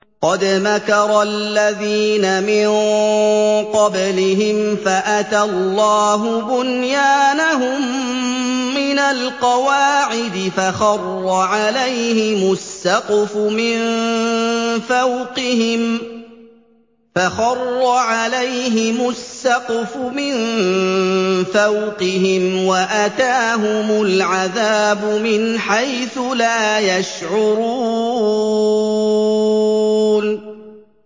قَدْ مَكَرَ الَّذِينَ مِن قَبْلِهِمْ فَأَتَى اللَّهُ بُنْيَانَهُم مِّنَ الْقَوَاعِدِ فَخَرَّ عَلَيْهِمُ السَّقْفُ مِن فَوْقِهِمْ وَأَتَاهُمُ الْعَذَابُ مِنْ حَيْثُ لَا يَشْعُرُونَ